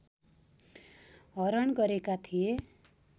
हरण गरेका थिए